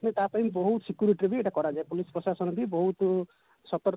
ସେ ତା ପାଇଁ ବହୁତ security ରେ ବି ଏଟା କରାଯାଏ police ପ୍ରଶାସନ ବି ବହୁତ ସତର୍କ